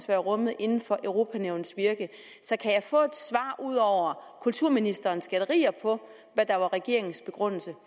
være rummet inden for europa nævnets virke så kan jeg få et svar ud over kulturministerens gætterier på hvad der var regeringens begrundelse